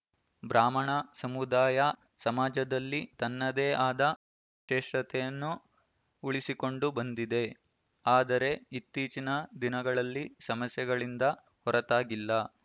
ಬ್ರಾಹ್ಮಣ ಸಮುದಾಯ ಸಮಾಜದಲ್ಲಿ ತನ್ನ ತ್ರೆಶತೆಯನ್ನು ಉಳಿಸಿಕೊಂಡು ಬಂದಿದೆ ಆದರೆ ಇತ್ತೀಚಿನ ದಿನಗಳಲ್ಲಿ ಸಮಸ್ಯೆಗಳಿಂದ ಹೊರತಾಗಿಲ್ಲ